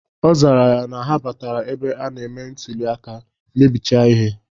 Ọ zara sị na ha batara ebe a na-eme ntuli aka, mebiche ihe.